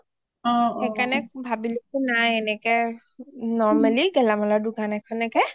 সেইকাৰণে ভাবিলো কি নাই এনেকে normally গেলামালৰ দুকান এখনকে